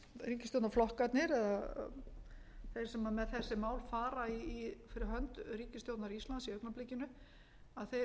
ríkisstjórnarflokkarnir eða þeir sem með þessi mál fara fyrir hönd ríkisstjórnar íslands í augnablikinu fari að